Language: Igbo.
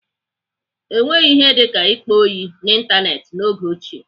Enweghị ihe dịka ịkpa ọyị n'Ịntanetị n'oge ochie.